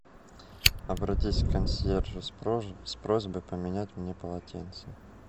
обратись к консьержу с с просьбой поменять мне полотенце